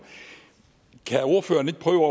kan ordføreren ikke prøve